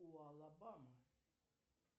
уалабама